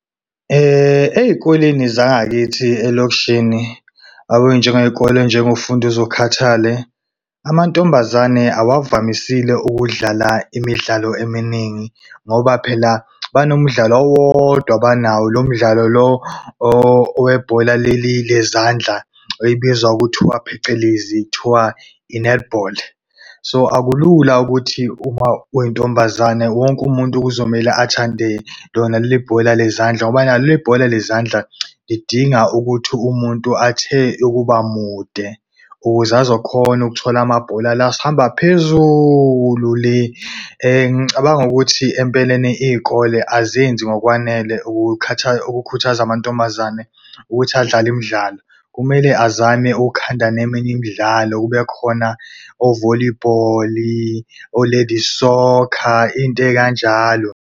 Ey'koleni zangakithi elokishini, yabo njengeyikole eyinjengoFunduzukhathale, amantombazane awavamisile ukudlala imidlalo eminingi ngoba phela banomdlalo owodwa abanawo. Lo umdlalo lo owebhola leli lezandla ebizwa ngokuthiwa phecelezi kuthiwa i-netball. So akulula ukuthi uma uyintombazane wonke umuntu kuzomele athande lona leli bhola lezandla, ngoba nalo leli bhola lezandla, lidinga ukuthi umuntu athe ukuba mude, ukuze azokhona ukuthola amabhola la hamba phezulu le. Ngicabanga ukuthi empeleni iy'kole azenzi ngokwanele ukukhuthaza amantombazane ukuthi adlale imidlalo. Kumele azame ukukhanda neminye imidlalo kube khona o-volleyball o-ladies soccer into ey'kanjalo.